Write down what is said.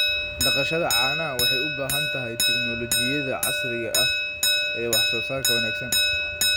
Dhaqashada caanaha waxay u baahan tahay tignoolajiyada casriga ah ee wax soo saarka wanaagsan.